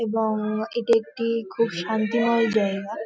এবং-ং এটা একটি-ই খুব শান্তিময় জায়গা ।